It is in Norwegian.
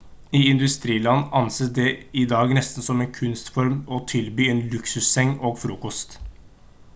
i industriland anses det i dag nesten som en kunstform å tilby en luksusseng og frokost